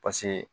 Paseke